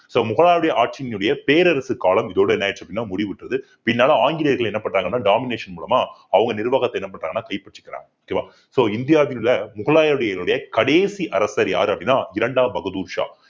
so முகலாயருடைய ஆட்சியினுடைய பேரரசு காலம் இதோட என்ன ஆயிடுச்சு அப்படின்னா முடிவுற்றது பின்னால ஆங்கிலேயர்கள் என்ன பண்றாங்கன்னா domination மூலமா அவங்க நிர்வாகத்த என்ன பண்றாங்கன்னா கைபற்றிக்கிறாங்க okay வா so இந்தியாவிலுள்ள முகலாயர்களுடைய கடைசி அரசர் யாரு அப்படின்னா இரண்டாம் பகதூர் ஷா